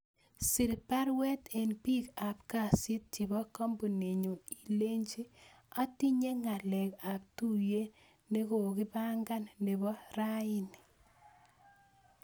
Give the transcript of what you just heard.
Sir baruet en piik ab kasit chebo kambuninyun ilenchi netinye ngalek ap tuyet negogagipangan nebo raini